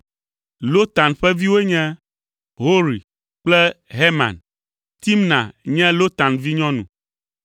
Lotan ƒe viwoe nye, Hori kple Heman. Timna nye Lotan nɔvinyɔnu.